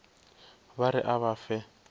ba re a ba fe